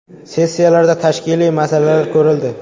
Sessiyalarda tashkiliy masalalar ko‘rildi.